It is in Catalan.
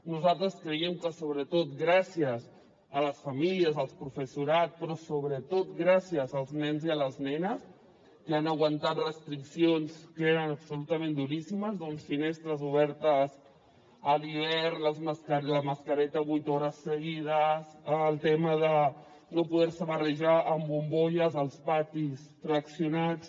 nosaltres creiem que sobretot gràcies a les famílies al professorat però sobretot gràcies als nens i a les nenes que han aguantat restriccions que eren absolutament duríssimes amb finestres obertes a l’hivern la mascareta vuit hores seguides el tema de no poder se barrejar amb bombolles als patis fraccionats